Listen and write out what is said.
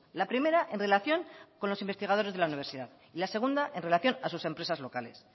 la primera en relación con los investigadores de la universidad y la segunda en relación a sus empresas locales